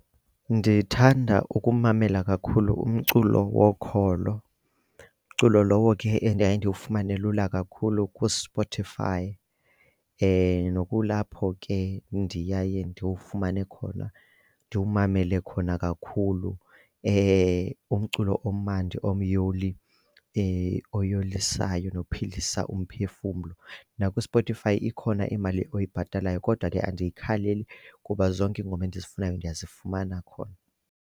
Ndithanda ukumamela kakhulu umculo wokholo. Umculo lowo ke endiye ndiwufumane lula kakhulu kuSpotify nokulapho ke ndiyaye ndiwufumane khona, ndiwumamele khona kakhulu umculo omandi omyoli oyolisayo nophilisa umphefumlo. NakuSpotify ikhona imali oyibhatalayo kodwa ke andiyikhaleli kuba zonke iingoma endizifunayo ndiyazifumana khona.